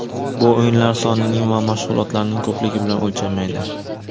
Bu o‘yinlar sonining va mashg‘ulotlarning ko‘pligi bilan o‘lchanmaydi”.